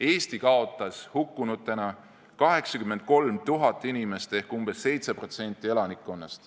Eesti kaotas hukkunutena 83 000 inimest ehk umbes 7% elanikkonnast.